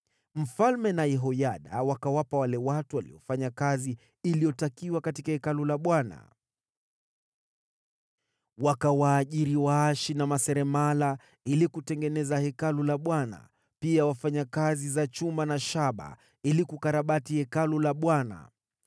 Mfalme na Yehoyada wakawapa wale watu waliofanya kazi iliyotakiwa katika Hekalu la Bwana . Wakawaajiri waashi na maseremala ili kutengeneza Hekalu la Bwana , pia wafanyakazi za chuma na shaba ili kukarabati Hekalu la Bwana .